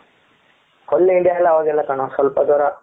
full india ಎಲ್ಲ ಹೋಗಿಲ್ಲ ಕಣೋ ಸ್ವಲ್ಪ ದೂರ ,